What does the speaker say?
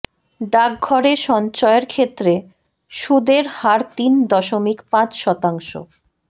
ডাকঘরে সঞ্চয়ের ক্ষেত্রে সুদের হার তিন দশমিক পাঁচ শতাংশ